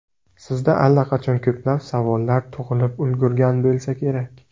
Sizda allaqachon ko‘plab savollar tug‘ilib ulgurgan bo‘lsa kerak.